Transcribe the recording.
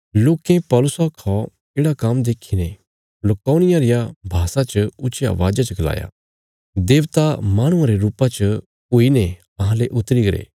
लोकें पौलुसा रा येढ़ा काम्म देखीने लुकाउनिया रिया भाषा च ऊच्चिया अवाज़ा च गलाया देबता माहणुआं रे रुपा च हुईने अहांले उतरी गरे